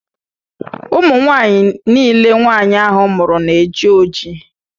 Ụmụnwaanyị nille nwaanyị ahụ mụrụ na-eji ojii